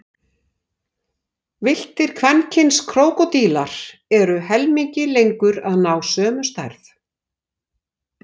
Villtir kvenkyns krókódílar eru helmingi lengur að ná sömu stærð.